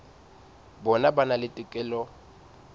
bona ba na le tokelo